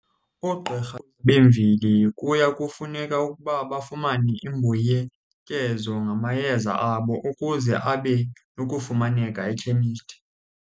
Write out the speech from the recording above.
Oogqirha bemveli kuya kufuneka ukuba bafumane imbuyekezo ngamayeza abo ukuze abe nokufumaneka ekhemisti.